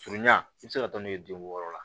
Furu ɲa i bɛ se ka taa n'u ye den wɔɔrɔ la